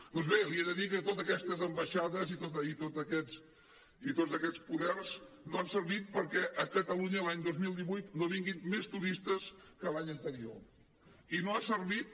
doncs bé li he de dir que totes aquestes ambaixades i tots aquests poders no han servit perquè a catalunya l’any dos mil divuit no vinguin més turistes que l’any anterior i no ha servit